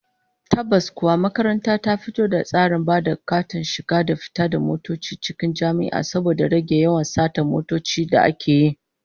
Tabbas kuwa, makaranta ta fito da tsarin ba da katin shiga da fita da motoci cikin jami'a, saboda rage yawan satar motoci da ake yi